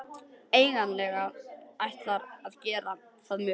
Eigandinn ætlar að gera það mögulegt